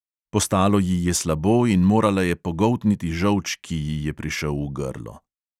Postalo ji je slabo in morala je pogoltniti žolč, ki ji je prišel v grlo.